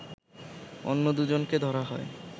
অন্য দু’জনকে ধরা হয়